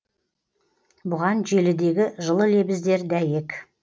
бұған желідегі жылы лебіздер дәйек